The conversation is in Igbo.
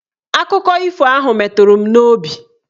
Akụkọ ifo ahụ meturu m n'obi